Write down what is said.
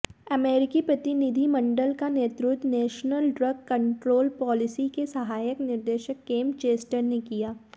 अमेरिकी प्रतिनिधिमंडल का नेतृत्व नेशनल ड्रग कंट्रोल पॉलिसी के सहायक निदेशक केंप चेस्टर ने किया